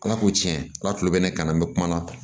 Ala ko tiɲɛ ala tulo bɛ ne kan na n bɛ kuma na